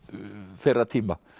þeirra tíma